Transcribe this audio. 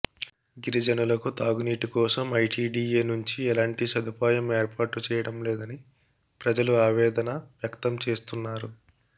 గిరిజనులకు తాగునీటి కోసం ఐటీడీఏ నుంచి ఎలాంటి స దుపాయం ఏర్పాటు చేయడంలేదని ప్రజలు ఆవేదన వ్యక్తం చేస్తున్నారు